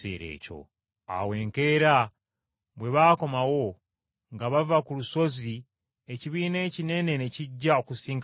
Awo enkeera bwe baakomawo nga bava ku lusozi, ekibiina ekinene ne kijja okusisinkana Yesu.